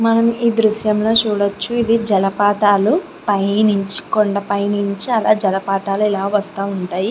మనం ఈ దృశ్యంలో చూడొచ్చు ఇది జలపాతాలు. పైనుంచి కొండపై నుంచి అలా జలపాతాలు ఇలా వస్తూ ఉంటాయి.